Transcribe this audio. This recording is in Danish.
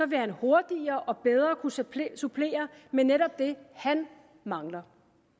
vil han hurtigere og bedre kunne supplere supplere med netop det han mangler